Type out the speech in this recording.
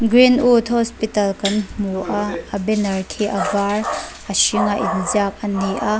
greenwood hospital kan hmu a a banner khi a var a hring a inziak ani a.